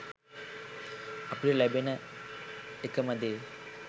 අපිට ලැබෙන එකම දේ